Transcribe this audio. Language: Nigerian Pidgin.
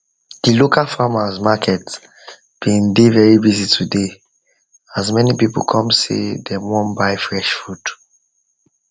the local farmers market been dey very busy today as many people come say dem wan buy fresh food